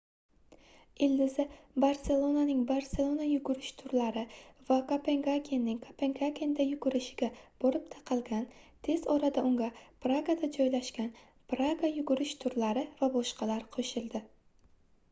ildizi barselonaning barselona yugurish turlari va kopengagenning kopengagenda yugurish iga borib taqalgan tez orada unga pragada joylashgan praga yugurish turlari va boshqalar qoʻshildi